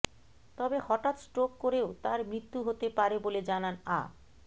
তবে হঠাৎ স্ট্রোক করেও তাঁর মৃত্যু হতে পারে বলে জানান আ